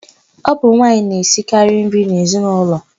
Ọ bụ nwaanyị na-esikarị nri n'ezinaụlọ.